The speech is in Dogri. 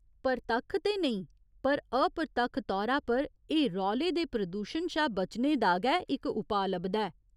प्रतक्ख ते नेईं पर अप्रतक्ख तौरा पर एह् रौले दे प्रदूशण शा बचने दा गै इक उपाऽ लभदा ऐ।